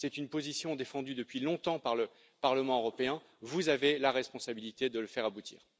C'est une position défendue depuis longtemps par le Parlement européen, vous avez la responsabilité de le faire aboutir.